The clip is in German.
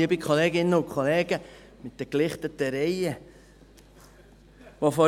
Liebe Kolleginnen und Kollegen – in den gelichteten Reihen.